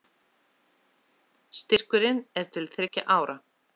Styrkurinn er til þriggja ára